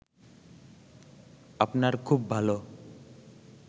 আপনার খুব ভালো